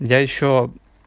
я ещё